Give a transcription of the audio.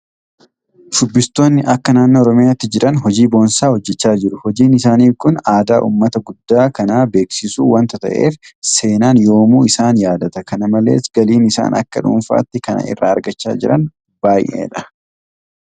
Shubbistoonni akka naannoo Oromiyaatti jiran hojii boonsaa hojjechaa jiru. Hojiin isaanii kun aadaa uummata guddaa kanaa beeksisuu waanta ta'eef seenaan yoomuu isaan yaadata. Kana malees galiin isaan akka dhuunfaatti kana irraa argachaa jiran baay'eedha.